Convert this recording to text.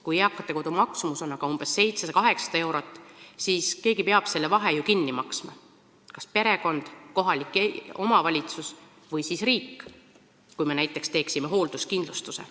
Kui eakate kodu maksumus on aga umbes 700–800 eurot, siis peab keegi ju selle vahe kinni maksma – kas perekond, kohalik omavalitsus või riik, kui me teeksime näiteks hoolduskindlustuse.